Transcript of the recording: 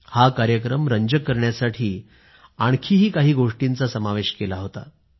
हा कार्यक्रम रंजक करण्यासाठी आणखी काही गोष्टींचाही समावेश केला होता